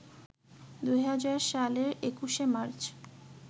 ২০০০ সালের ২১শে মার্চ